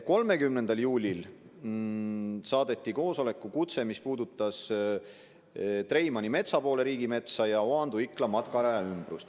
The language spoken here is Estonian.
30. juulil saadeti koosolekukutse, mis puudutas Treimani ja Metsapoole riigimetsa ja Oandu–Ikla matkaraja ümbrust.